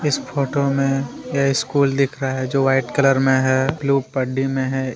इस फोटो में यह स्कूल दिख रहा है जो वाइट कलर में हैब्लू पड्डी में है।